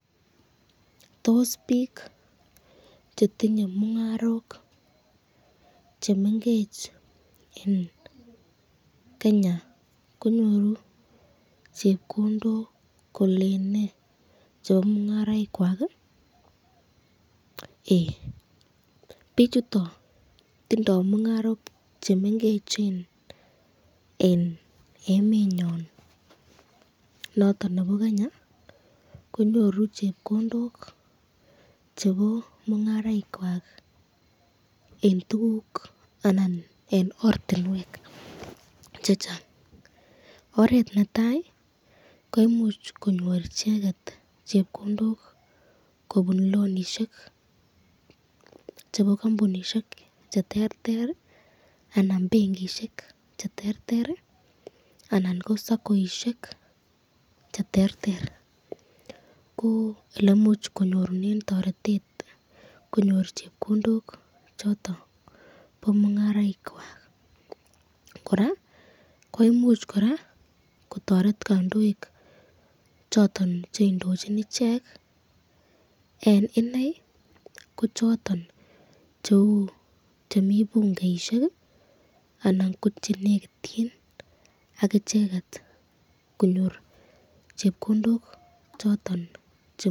Tos pik chetinye mungarok chemengecheni eng Kenya konyoru chepkondok kolene chebo mungaraik kwako? bichutan tindo mungarok chemengecheni eng emenyon noton nebo Kenya konyoru chepkondok chebo mungaraik kwako eng ortinwek chechang, oret netai koimuch konyor icheket chepkondok kobun lonishek chebo kambunishek cheterter anan benkishek cheterter anan ko saccoishek cheterter, ko elemuch konyorunen toretet kobun chepkondok choton chebo mungaraik kwak koraa koimuch kotoret kandoik cheindochin icheket eng inei ko choton cheu chemi bungeishek anan ko chenekityin akicheket.